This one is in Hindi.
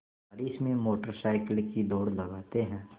बारिश में मोटर साइकिल की दौड़ लगाते हैं